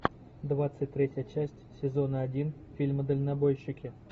двадцать третья часть сезона один фильма дальнобойщики